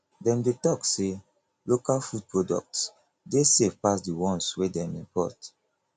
dem dey tok sey local food products dey safe pass di ones wey dem import